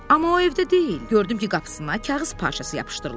Amma o evdə deyil, gördüm ki, qapısına kağız parçası yapışdırılıb.